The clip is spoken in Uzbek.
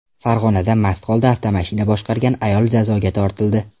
Farg‘onada mast holda avtomashina boshqargan ayol jazoga tortildi.